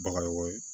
Bagayogo ye